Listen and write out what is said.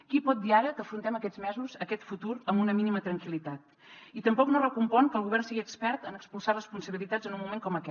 qui pot dir ara que afrontem aquests mesos aquest futur amb una mínima tranquil·litat i tampoc no recompon que el govern sigui expert en expulsar responsabilitats en un moment com aquest